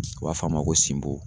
U b'a f'a ma ko sinbo.